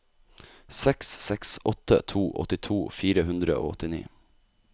seks seks åtte to åttito fire hundre og åttini